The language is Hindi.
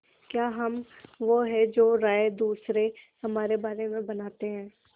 क्या हम वो हैं जो राय दूसरे हमारे बारे में बनाते हैं